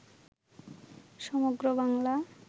সমগ্র বাংলা